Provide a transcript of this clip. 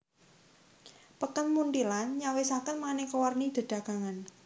Peken Munthilan nyawisaken manéka warni dedagangan